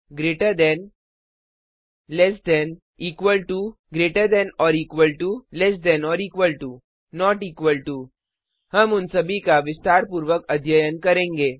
greater than से अधिक less than से कम 000113 000013 इक्वल टू के बराबर ग्रेटर दैन और इक्वल टू से बड़ा या बराबर लैस दैन और इक्वल टू से कम या बराबर नॉट इक्वल टू के बराबर नहीं हम उन सभी का विस्तारपूर्वक अध्ययन करेंगे